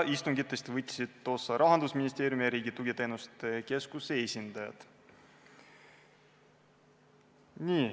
Istungitest võtsid osa Rahandusministeeriumi ja Riigi Tugiteenuste Keskuse esindajad.